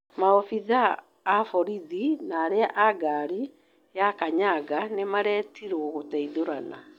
Maabitha a borithi na arĩa a ngari ya kanyaga nĩmaretirwo gũteithũrana.